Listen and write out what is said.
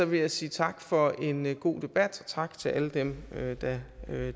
vil jeg sige tak for en god debat og tak til alle dem der